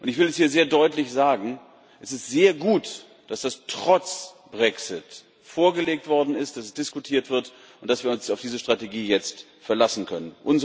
Ich will hier sehr deutlich sagen Es ist sehr gut, dass das trotz Brexit vorgelegt worden ist, dass es diskutiert wird und dass wir uns auf diese Strategie jetzt verlassen können.